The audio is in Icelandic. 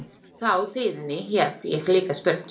Þau tíðindi hef ég líka spurt.